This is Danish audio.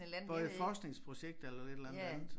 Hvor jeg forskningsprojekt eller et eller andet andet